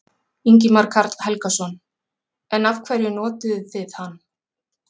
Ingimar Karl Helgason: En af hverju notuðuð þið hann?